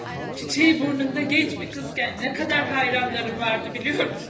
Çiçəyi burnunda gənc bir qızkən nə qədər heyranlarım vardı, bilirsən?